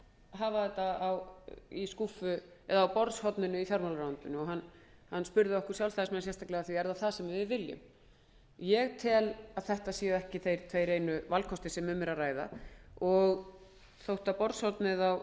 hafa þetta á borðshorninu í fjármálaráðuneytinu hann spurði okkur sjálfstæðismenn sérstaklega hvort það væri það sem við vildum ég tel að þetta séu ekki þeir tveir einu valkostir sem um er að ræða og þótt borðshornið á